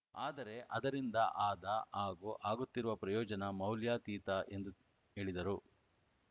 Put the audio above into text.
ಆದರೆ ಅದರಿಂದ ಆದ ಹಾಗೂ ಆಗುತ್ತಿರುವ ಪ್ರಯೋಜನ ಮೌಲ್ಯಾತೀತ ಎಂದು ಹೇಳಿದರು